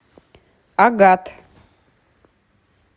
агат